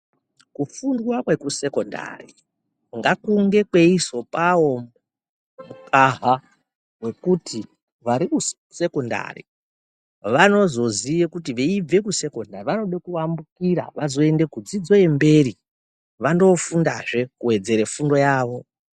Kufundwa kwekusekondari ngakunge kweizopawo mukaha wekuti vari kusekondari vanozoziye kuti veibve kusekondari vanoda kuambukira veizoenda kudzidzo yemberi koofundazve kuwedzere fundo yavo.